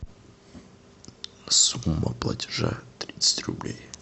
сумма платежа тридцать рублей